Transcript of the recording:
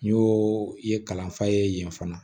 N y'o i ye kalanfa ye yen fana